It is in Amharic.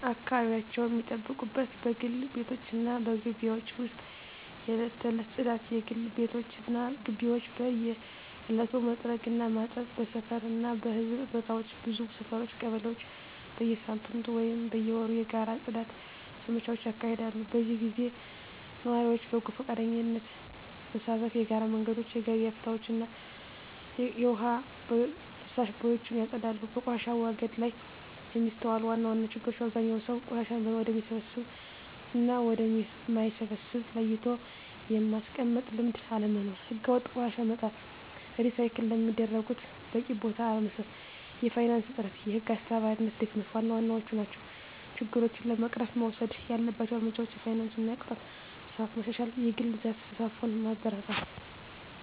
አካባቢያቸውን ሚጠብቁት በግል ቤቶች እና በግቢዎች ውስጥ የዕለት ተዕለት ጽዳት: የግል ቤቶች እና ግቢዎች በየዕለቱ መጥረግ እና ማጠብ። በሰፈር እና በሕዝብ ቦታዎች ብዙ ሰፈሮች (ቀበሌዎች) በየሳምንቱ ወይም በየወሩ የጋራ የጽዳት ዘመቻዎች ያካሂዳሉ። በዚህ ጊዜ ነዋሪዎች በጎ ፈቃደኝነት በመሳተፍ የጋራ መንገዶችን፣ የገበያ ቦታዎችን እና የውሃ ፍሳሽ ቦዮችን ያጸዳሉ። በቆሻሻ አወጋገድ ላይ የሚስተዋሉ ዋና ዋና ችግሮች አብዛኛው ሰው ቆሻሻን ወደሚበሰብስ እና ወደ ማይበሰብስ ለይቶ የማስቀመጥ ልምድ አለመኖር። ሕገወጥ ቆሻሻ መጣል፣ ሪሳይክል ለሚደረጉት በቂ ቦታ አለመስጠት፣ የፋይናንስ እጥረት፣ የህግ አስከባሪነት ድክመት ዋና ዋናዎቹ ናቸው። ችግሮችን ለመቅረፍ መወሰድ ያለባቸው እርምጃዎች የፋይናንስ እና የቅጣት ስርዓት ማሻሻል፣ የግል ዘርፍ ተሳትፎን ማበረታታት፣ …